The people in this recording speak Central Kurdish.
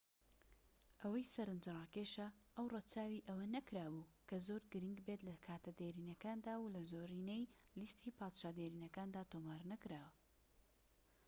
ئەوەی سەرنجڕاکێشە ئەو رەچاوی ئەوە نەکرابوو کە زۆر گرنگ بێت لە کاتە دێرینەکاندا و لە زۆرینەی لیستی پادشا دێرینەکاندا تۆمار نەکراوە